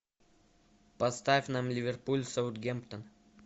поставь нам ливерпуль с саутгемптон